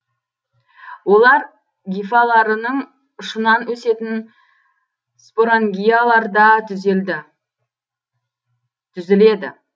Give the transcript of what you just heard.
олар гифаларының ұшынан өсетін спорангияларда түзіледі